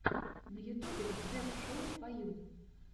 на ютьюбе джефф шоу фо ю